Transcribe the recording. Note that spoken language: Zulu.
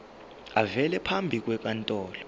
avele phambi kwenkantolo